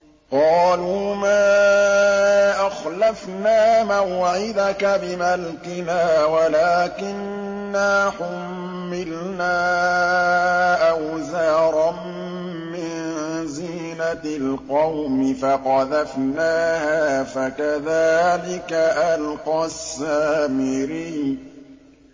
قَالُوا مَا أَخْلَفْنَا مَوْعِدَكَ بِمَلْكِنَا وَلَٰكِنَّا حُمِّلْنَا أَوْزَارًا مِّن زِينَةِ الْقَوْمِ فَقَذَفْنَاهَا فَكَذَٰلِكَ أَلْقَى السَّامِرِيُّ